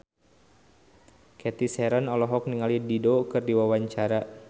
Cathy Sharon olohok ningali Dido keur diwawancara